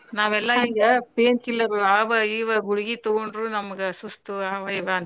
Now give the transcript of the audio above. ನಾವೆಲ್ಲ ಈಗ pain killer ಆವಾ ಇವಾ ಗುಳಗೀ ತಗೊಂಡ್ರು ನಮ್ಗ ಸುಸ್ತು ಆವಾ ಇವಾ ಅಂತೀವ.